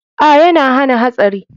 A,yana hana hatsari.